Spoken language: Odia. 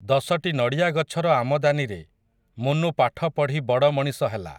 ଦଶଟି ନଡ଼ିଆଗଛର ଆମଦାନିରେ, ମୁନୁ ପାଠ ପଢ଼ି ବଡ଼ ମଣିଷ ହେଲା ।